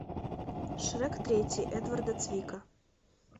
шрек третий эдварда цвика